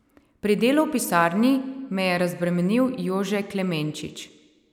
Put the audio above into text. Pri delu v pisarni me je razbremenil Jože Klemenčič.